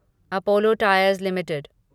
Apollo Tyres limited